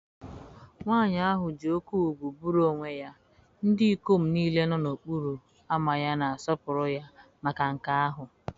Nwanyị ahụ ji oke ugwu buru onwe ya, ndị ikom niile nọ n'okporo ámá ya na-asọpụrụ ya maka nke ahụ.